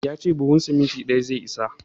Ya ce buhun siminti ɗaya zai isa.